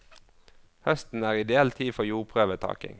Høsten er ideell tid for jordprøvetaking.